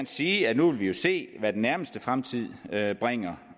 sige at nu vil vi jo se hvad den nærmeste fremtid bringer